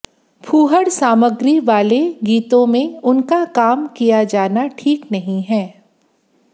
फूहड़ सामग्री वाले गीतों में उनका काम किया जाना ठीक नहीं है